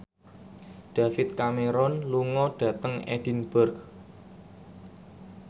David Cameron lunga dhateng Edinburgh